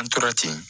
An tora ten